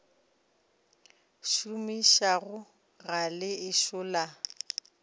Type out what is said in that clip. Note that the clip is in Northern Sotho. šomišago ga le ešo la